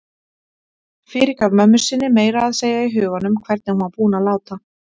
Fyrirgaf mömmu sinni meira að segja í huganum hvernig hún var búin að láta.